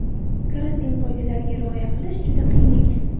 Karantin qoidalariga rioya qilish juda qiyin ekan.